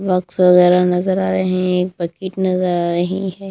Drugs वैगौरह नजर आ रहे हैं एक पैकेट नजर आ रहे हैं।